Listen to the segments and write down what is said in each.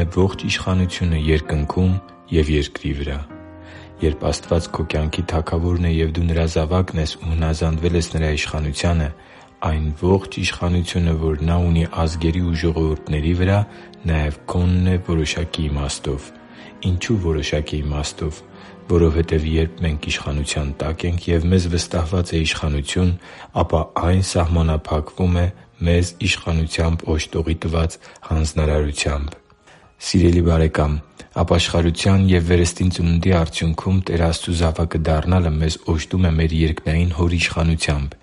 է ողջ իշխանությունը Երկնքում և երկրի վրա Երբ Աստված քո կյանքի Թագավորն է և դու Նրա զավակն ես ու հնազանդվել ես Նրա իշխանությանը, այն ողջ իշխանությունը, որ Նա ունի ազգերի ու ժողովուրդների վրա, նաև քոնն է որոշակի իմաստով։ Ինչո՞ւ որոշակի իմաստով։ Որովհետև երբ մենք իշխանության տակ ենք և մեզ վստահված է իշխանություն, ապա այն սահմանափակվում է մեզ իշխանությամբ օժտողի տված հանձնարարությամբ։ Սիրելի՛ բարեկամ, ապաշխարության և վերստին ծնունդի արդյունքում Տեր Աստծու զավակը դառնալը մեզ օժտում է մեր երկնային Հոր իշխանությամբ։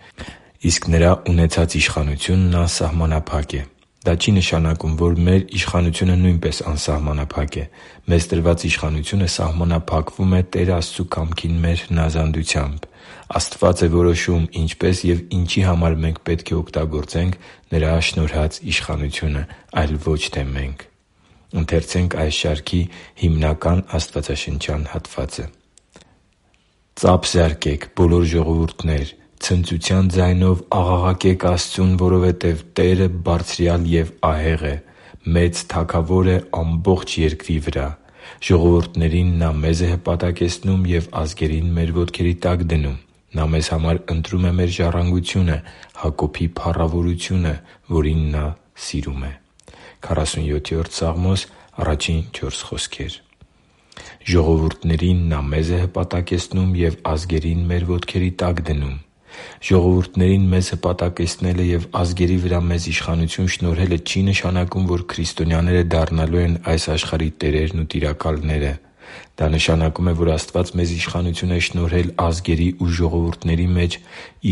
Իսկ Նրա ունեցած իշխանությունն անսահմանափակ է։ Դա չի նշանակում, որ մեր իշխանությունը նույնպես անսահմանափակ է։ Մեզ տրված իշխանությունը սահմանափակվում է Տեր Աստծու կամքին մեր հնազանդությամբ։ Աստվա՛ծ է որոշում՝ ինչպես և ինչի համար մենք պետք է օգտագործենք Նրա շնորհած իշխանությունը, այլ ոչ թե՝ մենք։ «Ծա՛փ տվեք, բոլո՛ր ժողովուրդներ, ցնծության ձայնով աղաղակե՛ք Աստծուն, որովհետև Տերը Բարձրյալ և ահեղ է. մեծ Թագավոր է ամբողջ երկրի վրա։ Ժողովուրդներին նա մեզ է հպատակեցնում և ազգերին մեր ոտքերի տակ դնում։ Նա մեզ համար ընտրում է մեր ժառանգությունը՝ Հակոբի փառավորությունը, որին Նա սիրում է» (Սաղմոս 47․1-4)։ «Ժողովուրդներին նա մեզ է հպատակեցնում և ազգերին մեր ոտքերի տակ դնում»։ Ժողովուրդներին մեզ հպատակեցնելը և ազգերի վրա մեզ իշխանությունը շնորհելը չի նշանակում, որ քրիստոնյաները դառնալու են այս աշխարհի տերերն ու տիրակալները։ Դա նշանակում է, որ Աստված մեզ իշխանություն է շնորհել ազգերի ու ժողովուրդների մեջ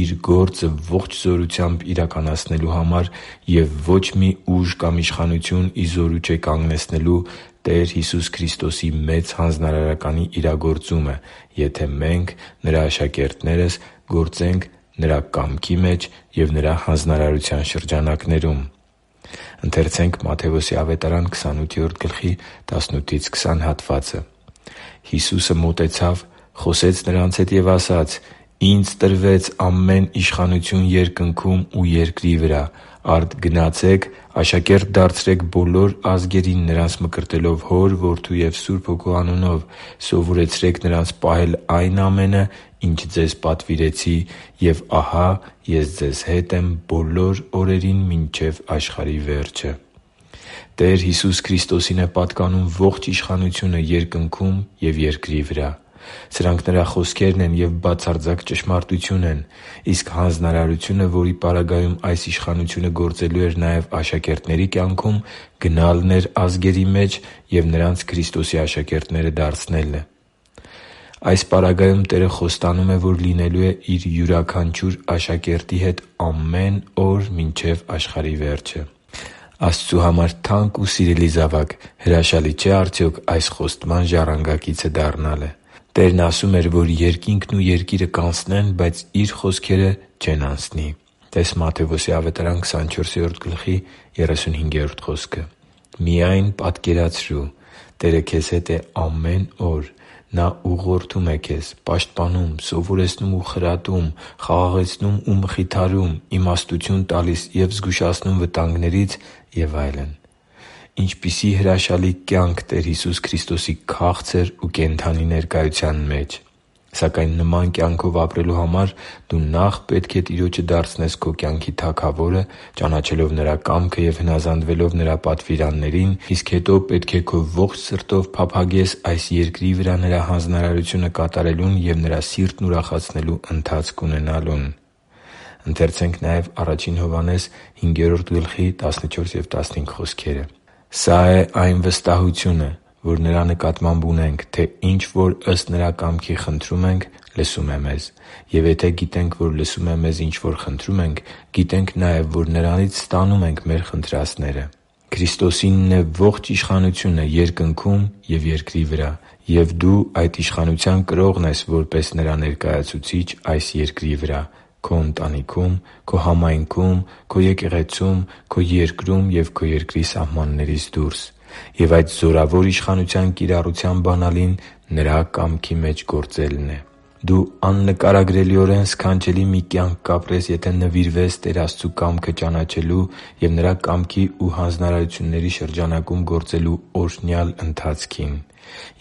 Իր գործը ողջ զորությամբ իրականացնելու համար, և ոչ մի ուժ կամ իշխանություն ի զորու չէ կագնեցնելու Տեր Հիսուս Քրիստոսի Մեծ Հանձնարարականի իրագործումը, եթե մենք՝ Նրա աշակերտներս, գործենք Նրա կամքի մեջ և Նրա հանձնարարության շրջանակներում։ «Հիսուսը մոտեցավ, խոսեց նրանց հետ ու ասաց. «Ինձ տրվեց ամեն իշխանություն երկնքում ու երկրի վրա։ Արդ գնացե՛ք, աշակե՛րտ դարձրեք բոլոր ազգերին՝ նրանց մկրտելով Հոր, Որդու և Սուրբ Հոգու անունով, սովորեցրե՛ք նրանց պահել այն ամենը, ինչ ձեզ պատվիրեցի։ Եվ ահա Ես ձեզ հետ եմ բոլոր օրերին մինչև աշխարհի վերջը» (Մատթեոս 28.18-20): Տեր Հիսուս Քրիստոսին է պատկանում ողջ իշխանությունը Երկնքում և երկրի վրա։ Սրանք Նրա խոսքերն են և բացարձակ ճշմարտություն են։ Իսկ հանձնարարությունը, որի պարագայում այս իշխանությունը գործելու էր նաև աշակերտների կյանքում, գնալն էր ազգերի մեջ և նրանց Քրիստոսի աշակերտները դարձնելն էր։ Այս պարագայում Տերը խոստանում է, որ լինելու է Իր յուրաքանչյուր աշակերտի հետ ամեն օր մինչև աշխարհի վերջը։ Աստծու համար թանկ ու սիրելի՛ զավակ, հրաշալի չէ՞ արդյոք այս խոստման ժառանգակիցը դառնալը։ Տերն ասում էր, որ երկինքն ու երկիրը կանցնեն, բայց Իր խոսքերը չեն անցնի (տե՛ս Մատթեոս 24․35 խոսքը): Միա՜յն պատկերացրու․․․ Տերը քեզ հետ է ամեն օր։ Նա ուղղորդում է քեզ, պաշտպանում, սովորեցնում ու խրատում, խաղաղեցնում ու մխիթարում, իմաստություն տալիս և զգուշացնում վտանգներից և այլն։ Ինչպիսի՜ հրաշալի կյանք Տեր Հիսուս Քրիստոսի քաղցր ու կենդանի ներկայության մեջ։ Սակայն նման կյանքով ապրելու համար դու նախ պետք է Տիրոջը դարձնես քո կյանքի Թագավորը՝ ճանաչելով Նրա կամքը և հնազանդվելով Նրա պատվիրաններին։ Իսկ հետո պետք է քո ողջ սրտով փափագես այս երկրի վրա Նրա հանձնարարությունը կատարելուն և Նրա սիրտն ուրախացնելու ընթացք ունենալուն։ «Սա է այն վստահությունը, որ Նրա նկատմամբ ունենք, թե ինչ որ ըստ Նրա կամքի խնդրում ենք, լսում է մեզ։ Եվ եթե գիտենք, որ լսում է մեզ, ինչ որ խնդրում ենք, գիտենք նաև, որ Նրանից ստանում ենք մեր խնդրածները» (Ա Հովհաննես 5.14-15): Քրիստոսինն է ողջ իշխանությունը Երկնքում և երկրի վրա։ Եվ դու այդ իշխանության կրողն ես՝ որպես Նրա ներկայացուցիչ այս երկրի վրա՝ քո ընտանիքում, քո համայնքում, քո եկեղեցում, քո երկրում և քո երկրի սահմաններից դուրս։ Եվ այդ զորավոր իշխանության կիրառության բանալին Նրա կամքի մեջ գործելն է։ Դու աննկարագրելիորեն սքանչելի մի կյանք կապրես, եթե նվիրվես Տեր Աստծու կամքը ճանաչելու և Նրա կամքի ու հանձնարարությունների շրջանակում գործելու օրհնյալ ընթացքին։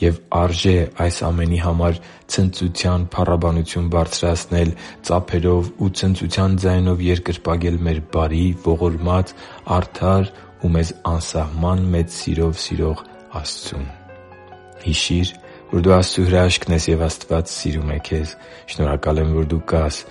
Եվ արժե՛ այս ամենի համար ցնծության փառաբանություն բարձրացնել՝ ծափերով ու ցնծության ձայնով երկրպագել մեր բարի, ողորմած, արդար ու մեզ անսահման մեծ սիրով սիրող Աստծուն։ Հիշի՛ր, որ դու Աստծո հրաշքն ես, և Աստված սիրում է քեզ։ Շնորհակալ եմ, որ դու կա՛ս